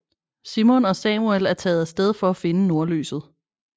Simon og Samuel er taget af sted for at finde nordlyset